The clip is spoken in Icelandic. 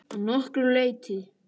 Að nokkru leyti.